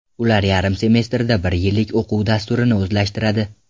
Ular yarim semestrda bir yillik o‘quv dasturini o‘zlashtiradi.